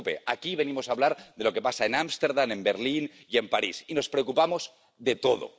no se preocupe aquí venimos a hablar de lo que pasa en Ámsterdam, en Berlín y en París, y nos preocupamos de todo.